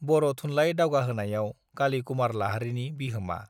बर थुनलाई दावगाहोनायाव काली कुमार लाहारीनि बिहोमा